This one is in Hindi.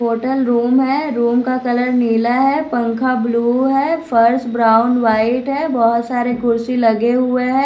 होटल रूम है रूम का कलर नीला है पंखा ब्लू है फर्श ब्राउन व्हाइट है बहुत सारे कुर्सी लगे हुए हैं।